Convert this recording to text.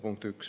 Punkt üks.